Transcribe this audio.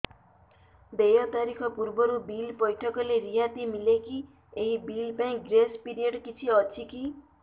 ଦେୟ ତାରିଖ ପୂର୍ବରୁ ବିଲ୍ ପୈଠ କଲେ ରିହାତି ମିଲେକି ଏହି ବିଲ୍ ପାଇଁ ଗ୍ରେସ୍ ପିରିୟଡ଼ କିଛି ଅଛିକି